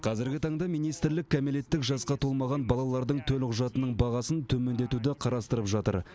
қазіргі таңда министрлік кәмелеттік жасқа толмаған балалардың төлқұжатының бағасын төмендетуді қарастырып жатыр